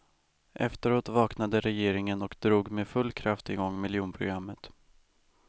Efteråt vaknade regeringen och drog med full kraft i gång miljonprogrammet.